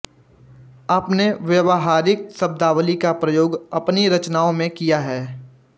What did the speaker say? आपने व्यावहारिक शब्दावली का प्रयोग अपनी रचनाओं में किया है